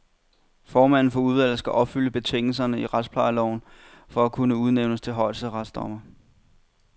Formanden for udvalget skal opfylde betingelserne i retsplejeloven for at kunne udnævnes til højesteretsdommer.